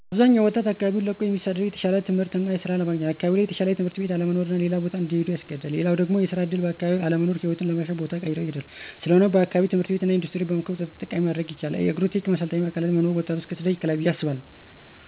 አብዛኛው ወጣት አካባቢውን ለቆ እሚሰደደው የተሻለ ትምህርት እና ሥራ ለማግኘት ነው። አካባቢው ላይ የተሻለ ትምህርት ቤት አለመኖር ሌላ ቦታ ላይ እንዲሄዱ ያስገድዳል። ሌላው ደግሞ የስራ ዕድል በአካባቢው አለመኖር ሕይወትን ለማሻሻል ቦታ ቀይረው ይሄዳሉ። ስለሆነም በአካባቢው ትምህርት ቤት እና ኢንዱስትሪ በመክፈት ወጣቱን ተጠቃሚ ማድረግ ይቻላል። የአግሪ-ቴክ ማሰልጠኛ ማዕከላት መኖርም ወጣቱን ከስደት ይከላከላል ብዬ አስባለሁ።